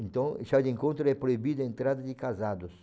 Então, chá de encontro é proibido a entrada de casados.